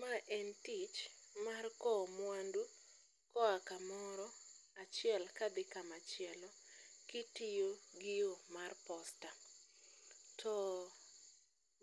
Ma en tich mar kowo mwandu koa kamoro achiel kadhi kamachielo kitiyo gi yo mar POSTA. To